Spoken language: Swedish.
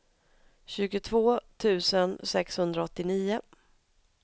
tjugotvå tusen sexhundraåttionio